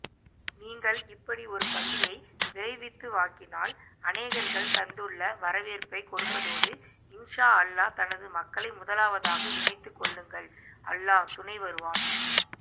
நீங்கள் இப்படி ஒருபள்ளியை விரைவித்துவாக்கினால் அநேகர்கள் தந்துள்ள வரவேற்பைக்கொடுப்பதோடு இன்ஷா அல்லாஹ் எனது மக்களை முதலாவதாக இணைத்துக்கொள்ளுங்கள் அல்லாஹ் துணைவருவான்